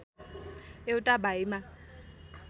एउटा भाइमा